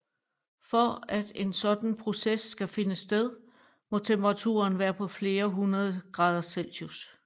For at en sådan proces skal finde sted må temperaturen være på flere hundreder grader celsius